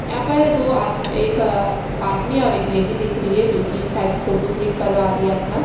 यहाँ पर दो आद एक आदमी और एक लेडी दिख रही है जोकि सायद फोटो क्लिक करवा रही है अपना--